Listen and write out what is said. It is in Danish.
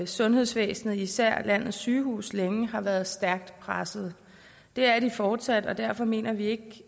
sundhedsvæsenet især landets sygehuse længe har været stærkt presset det er de fortsat og derfor mener vi ikke